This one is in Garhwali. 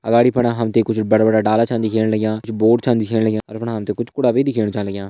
अगाड़ी फुन हम त कुछ बड़ा बड़ा डाला छन दिखेण लग्यां कुछ बोर्ड छन दिखेण लग्यां और कुछ कूड़ा भी दिखेण लग्यां।